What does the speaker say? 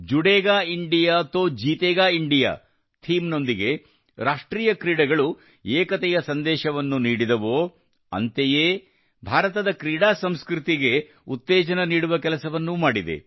ಜುಡೇಗಾ India ತೋ ಜೀತೇಗಾ India ಈ ಥೀಮ್ ನೊಂದಿಗೆ ರಾಷ್ಟ್ರೀಯ ಕ್ರೀಡೆಗಳು ಏಕತೆಯ ಸಂದೇಶವನ್ನು ನೀಡಿದವೋ ಅಂತೆಯೇ ಭಾರತದ ಕ್ರೀಡಾ ಸಂಸ್ಕೃತಿಗೆ ಉತ್ತೇಜನ ನೀಡುವ ಕೆಲಸವನ್ನೂ ಮಾಡಿದೆ